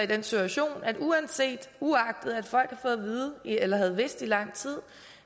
den situation at uagtet at folk havde vidst i lang tid